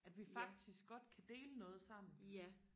at vi faktisk godt kan dele noget sammen